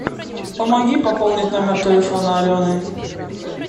помоги пополнить номер телефона алены